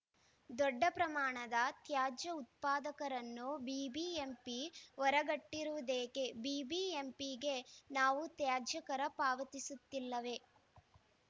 ದೊಡ್ಡ ಪ್ರಮಾಣದ ತ್ಯಾಜ್ಯ ಉತ್ಪಾದಕರನ್ನು ಬಿಬಿಎಂಪಿ ಹೊರಗಿಟ್ಟಿರುವುದೇಕೆ ಬಿಬಿಎಂಪಿಗೆ ನಾವು ತ್ಯಾಜ್ಯ ಕರ ಪಾವತಿಸುತ್ತಿಲ್ಲವೇ